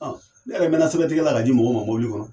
Ɔ Ne yɛrɛ mɛna sɛbɛ tigɛla ka di mɔgɔw ma mobili kɔnɔ